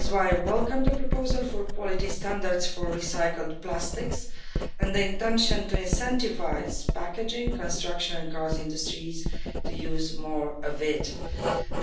That is why I welcomed the proposal for quality standards for recycled plastics and the intention to incentivise packaging for the construction and car industries to use more of them.